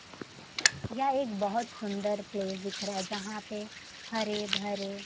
यह एक बहोत सुंदर प्लेस दिख रहा है जहां पे हरे भरे--